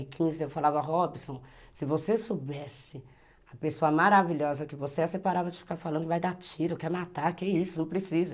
falava, Robson, se você soubesse a pessoa maravilhosa que você é, você parava de ficar falando que vai dar tiro, quer matar, que isso, não precisa.